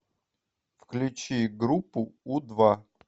включи группу у два